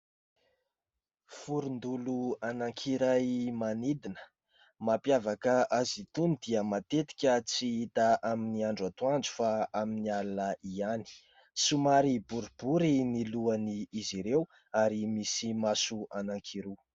Vorondolo anankiray manidina, mampiavaka azy itony dia matetika tsy hita amin'ny andro atoandro fa amin'ny alina ihany. Somary boribory ny lohan'izy ireo, ary misy maso anankiroa.